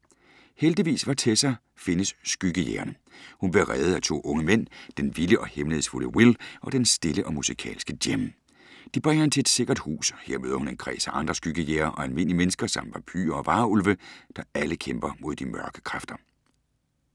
Heldigvis for Tessa findes skyggejægerne. Hun bliver reddet af to unge mænd: Den vilde og hemmelighedsfulde Will og den stille og musikalske Jem. De bringer hende til et sikkert hus. Her møder hun en kreds af andre skyggejægere og almindelige mennesker, samt vampyrer og varulve, der alle kæmper mod de mørke kræfter.